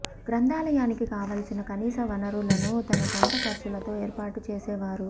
గ్రంథాలయానికి కావలసిన కనీస వనరులను తన సొంత ఖర్చులతో ఏర్పాటు చేసేవారు